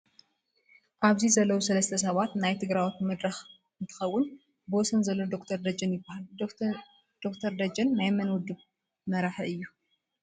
ኣብዚ ዘለው ሰላስተ ሰባት ናይ ትግረዎት መድረክ እንትከውን ብወሰን ዘሎ ዶክቶር ደጀን ይበሃል:: ዶ/ር ደጀን ናይ መን ውድብ መራሒ እዩ ?